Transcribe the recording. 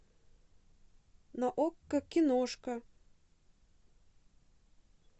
на окко киношка